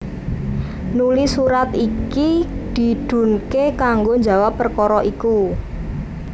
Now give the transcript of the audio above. Nuli surat iki didhunké kanggo njawab perkara iku